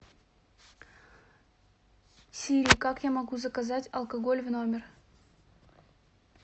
сири как я могу заказать алкоголь в номер